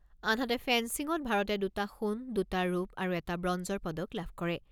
আনহাতে ফেন্সিঙত ভাৰতে দুটা সোণ, দুটা ৰূপ আৰু এটা ব্ৰঞ্জৰ পদক লাভ কৰে।